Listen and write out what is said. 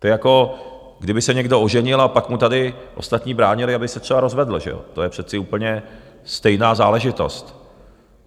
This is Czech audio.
To je, jako kdyby se někdo oženil a pak mu tady ostatní bránili, aby se třeba rozvedl, že jo, to je přece úplně stejná záležitost.